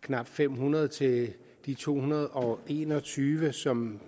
knap fem hundrede til de to hundrede og en og tyve som